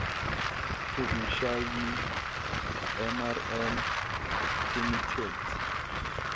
provincial mrm committee